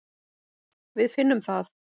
Við finnum það.